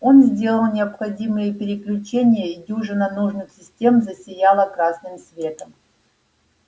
он сделал необходимые переключения и дюжина нужных систем засияла красным светом